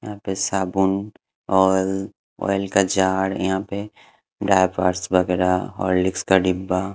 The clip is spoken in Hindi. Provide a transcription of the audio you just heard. यहाँ पे साबुन ऑयल ऑयल का जार यहाँ पे डाइपर्स वगैरा हॉर्लिक्स का डिब्बा --